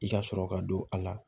I ka sɔrɔ ka don a la